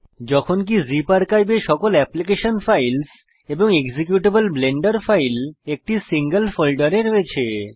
যখনকি zip archive এ সকল এপ্লিকেশন ফাইলস এবং এক্সিকিউটেবল ব্লেন্ডার ফাইল একটি সিঙ্গল ফোল্ডারে রয়েছে